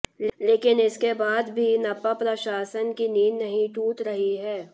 लेकिन इसके बाद भी नपा प्रशासन की नींद नहीं टूट रही है